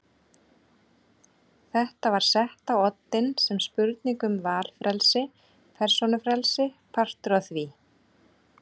Þetta var sett á oddinn sem spurning um valfrelsi, persónufrelsi, partur af því.